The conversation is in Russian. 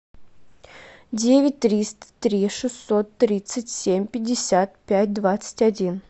девять триста три шестьсот тридцать семь пятьдесят пять двадцать один